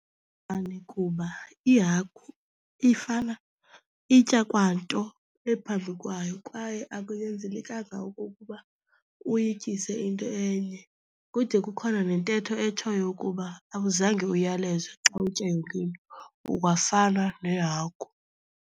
kuba ihagu ifana itya kwa nto ephambi kwayo kwaye akunyanzelekanga okokuba uyityise into enye. Kude kukhona nentetho etshoyo ukuba awuzange uyalezwe xa utya yonke into ungafana nehagu.